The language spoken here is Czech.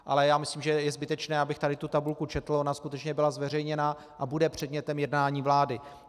Ale já myslím, že je zbytečné, abych tady tu tabulku četl, ona skutečně byla zveřejněna a bude předmětem jednání vlády.